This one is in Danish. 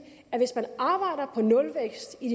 at hvis man arbejder på nulvækst i